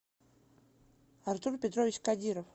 артур петрович кадиров